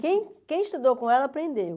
Quem quem estudou com ela aprendeu.